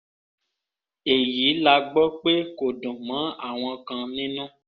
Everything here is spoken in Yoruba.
èyí la gbọ́ pé kò dùn mọ́ àwọn kan nínú